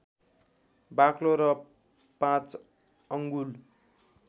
बाक्लो र पाँच अङ्गुल